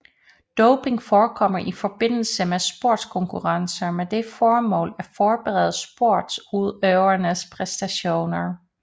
Doping forekommer i forbindelse med sportskonkurrencer med det formål at forbedre sportsudøverens præstationer